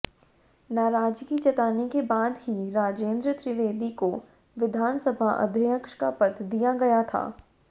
नाराजगी जताने के बाद ही राजेंद्र त्रिवेदी को विधानसभा अध्यक्ष का पद दिया गया था